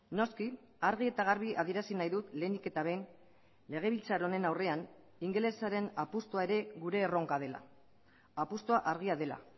noski argi eta garbi adierazi nahi dut lehenik eta behin legebiltzar honen aurrean ingelesaren apustua ere gure erronka dela apustua argia dela